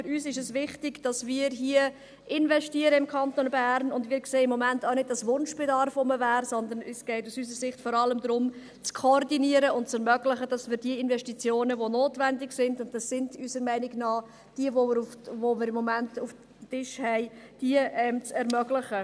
Für uns ist es wichtig, dass wir hier im Kanton investieren, und wir sehen im Moment auch nicht, dass Wunschbedarf da wäre, sondern es geht aus unserer Sicht vor allem darum, zu koordinieren und diejenigen Investitionen, die notwendig sind – und das sind unserer Meinung nach die, welche wir im Moment auf dem Tisch haben – zu ermöglichen.